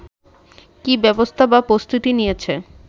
কি ব্যবস্থা বা প্রস্তুতি নিয়েছে